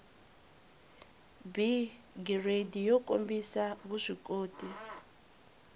b giridi yo kombisa vuswikoti